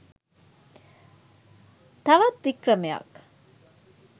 තවත් වික්‍රමයක්